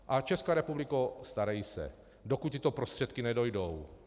A Česká republiko, starej se, dokud tyto prostředky nedojdou.